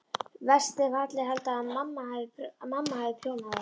Verst ef allir halda að mamma hafi prjónað þær.